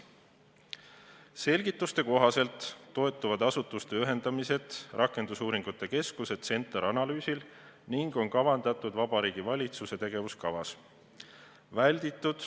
Selgituste kohaselt toetub asutuste ühendamine rakendusuuringute keskuse analüüsile, see on kavandatud ka Vabariigi Valitsuse tegevuskavas.